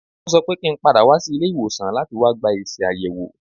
Wọ́n sọ pé kí n padà wá ilé ìwòsàn láti wá gba èsì àyẹ̀wò.